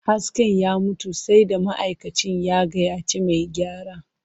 Hasken ya mutu, sai da ma'aikacin ya gayyaci mai gyara.